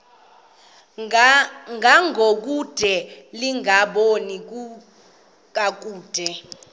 ngangokude lingaboni kakuhle